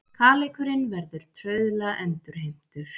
Kaleikurinn verður trauðla endurheimtur